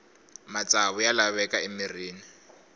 matsavu ya laveka emirhini